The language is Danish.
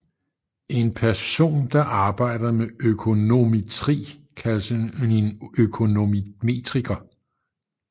En person der arbejder med økonometri kaldes en økonometriker